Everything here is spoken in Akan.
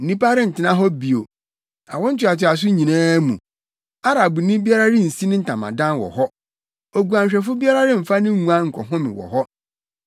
Nnipa rentena hɔ bio awo ntoatoaso nyinaa mu; Arabni biara rensi ne ntamadan wɔ hɔ oguanhwɛfo biara remfa ne nguan nkɔhome wɔ hɔ.